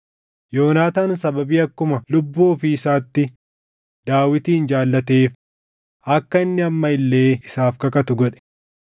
Yoonaataan sababii akkuma lubbuu ofii isaatti Daawitin jaallateef akka inni amma illee isaaf kakatu godhe.